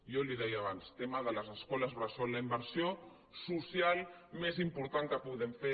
jo li ho deia abans el tema de les escoles bressol la inversió social més important que podem fer